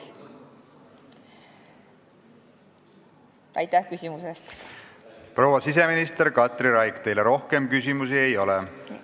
Proua siseminister Katri Raik, teile rohkem küsimusi ei ole.